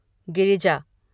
Girija